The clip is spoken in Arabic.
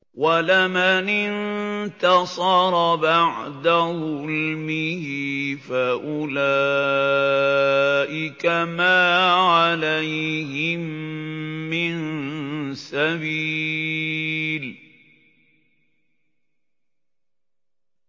وَلَمَنِ انتَصَرَ بَعْدَ ظُلْمِهِ فَأُولَٰئِكَ مَا عَلَيْهِم مِّن سَبِيلٍ